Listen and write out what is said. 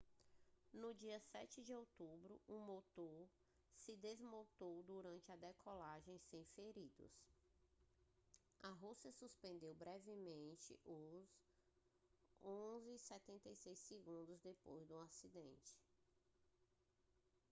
no dia 7 de outubro um motor se desmontou durante a decolagem sem feridos a rússia suspendeu brevemente os il-76s depois do acidente